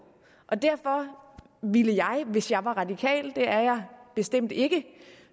og derfor ville jeg hvis jeg var radikal det er jeg bestemt ikke